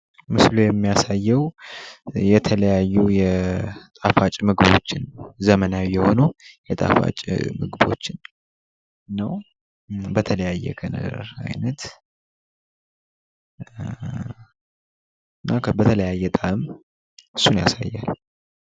የደንበኞች አገልግሎት ከሽያጭ በፊትና በኋላ ድጋፍ በመስጠት የደንበኞችን እርካታና ታማኝነት ያረጋግጣል።